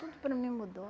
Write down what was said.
Tudo para mim mudou.